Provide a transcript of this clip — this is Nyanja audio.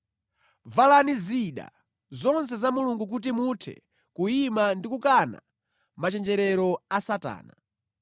Valani zida zonse za Mulungu kuti muthe kuyima ndi kukana machenjerero a Satana.